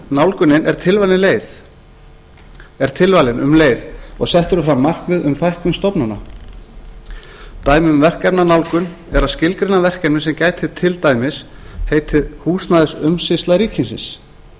nálgunin er tilvalin um leið og sett eru fram markmið um fækkun stofnana dæmi um verkefnanálgun er að skilgreina verkefni sem gæti til dæmis heitið húsnæðisumsýsla ríkisins en í